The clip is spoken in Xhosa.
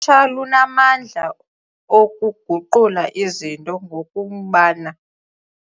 tsha lunamandla okuguqula izinto ngokumbana.